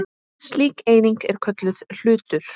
Slík eining er kölluð hlutur.